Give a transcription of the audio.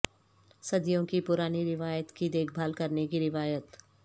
صدیوں کی پرانی روایت کی دیکھ بھال کرنے کی روایت